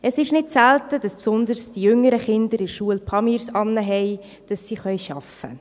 Es ist nicht selten, dass insbesondere die jüngeren Kinder in der Schule «Pamirs» tragen, damit sie arbeiten können.